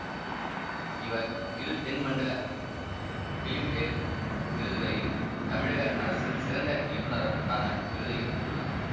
இவர் இரு தென்மண்டல பிலிம்பேர் விருதுகளையும் தமிழக அரசின் சிறந்த இயக்குனருக்கான விருதையும் பெற்றுள்ளார்